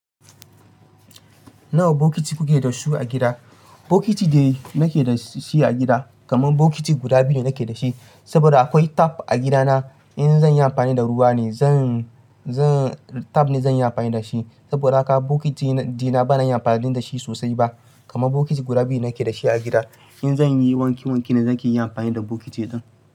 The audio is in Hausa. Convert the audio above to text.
Nawa bokiti kuke da su a gida? Bokiti da nake da shi a gida, kamar bokiti guda biyu ne nake da shi. Saboda akwai tap a gidana. In zan yi amfani da ruwa ne, zan, zan tap ne zan yi amfani da shi. Saboda haka bokiti dina bana yin amfani da shi sosai ba. Kamar bokiti guda biyu nake da shi a gida. In zan yi wanki wanki ne, na ke yin amfani da bokiti din.